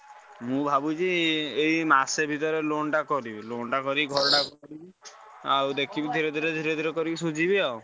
ମୁଁ ଭାବୁଛି ଏଇ ମାସେ ଭିତରେ loan ଟା କରିବି loan ଟା କରି ଘରଟା କରିବି। ଆଉ ଦେଖିବି ଧୀରେ ଧୀରେ ଧୀରେ ଧୀରେ କରି ସୁଝିବି ଆଉ।